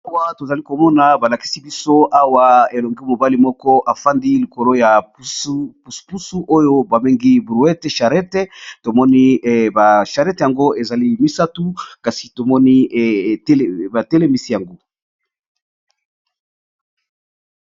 Awa to zali ko mona ba lakisi biso awa elenge mobali moko afandi likolo ya pusu pusu oyo ba bengi brouete charette. To moni ba charete yango ezali misatu kasi to moni ba telemisi yango.